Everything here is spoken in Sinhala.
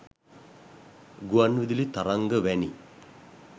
ගුවන් විදුලි තරංග වැනි